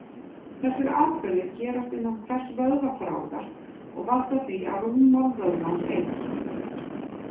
Þessir atburðir gerast innan hvers vöðvaþráðar og valda því að rúmmál vöðvans eykst.